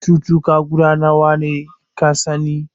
Cutuka guda nawa ka sani?